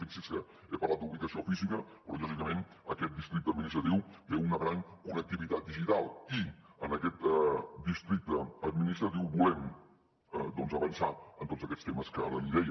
fixi’s que he parlat d’ubicació física però lògicament aquest districte administratiu té una gran connectivitat digital i en aquest districte administratiu volem avançar en tots aquests temes que ara li deia